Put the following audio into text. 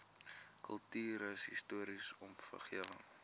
kultuurhis toriese omgewing